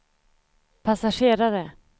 passagerare